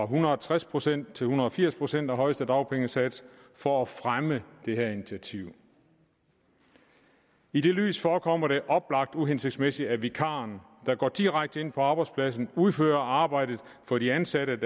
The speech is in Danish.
hundrede og tres procent til en hundrede og firs procent af højeste dagpengesats for at fremme det her initiativ i det lys forekommer det oplagt uhensigtsmæssigt at vikaren der går direkte ind på arbejdspladsen udfører arbejdet for de ansatte